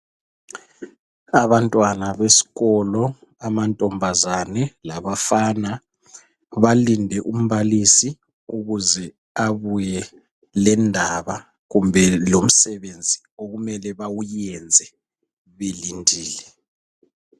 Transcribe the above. Abantwana besikolo amantombazana labafana balinde umbalisi ukuze abuye lendaba kumbe lomsebenzi okumele bawenze belindile